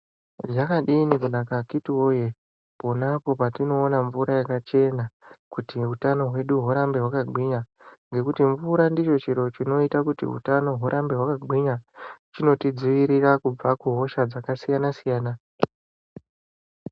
Zvakadini kunaka akhiti voye ponapo patinoona mvura yakachena kuti utano hwedu hurambe hwakagwinya. Ngekuti mvura ndicho chiro chinota kuti utano hurambe hwakagwinya, chinotidzirira kubva kuhosha dzakasiyana-siyana.